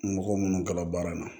Mɔgɔ minnu ka baara ma